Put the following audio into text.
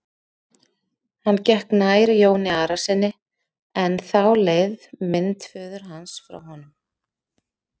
Hann gekk nær Jóni Arasyni en þá leið mynd föður hans frá honum.